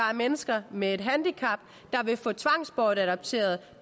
er mennesker med handicap der vil få tvangsbortadopteret